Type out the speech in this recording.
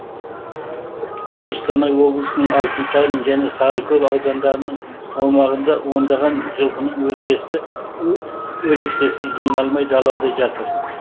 қостанай облысының алтынсарин және сарыкөл аудандарының аумағында ондаған жылқының өлексесі жиналмай далада жатыр